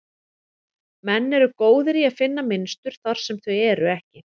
Menn eru góðir í að finna mynstur þar sem þau eru ekki.